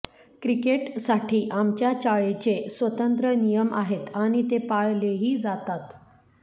क्रिकेटसाठी आमच्या चाळीचे स्वतंत्र नियम आहेत आणि ते पाळलेही जातात